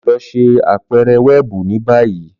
Lọ ṣe apẹrẹ wẹẹbu ni bayi!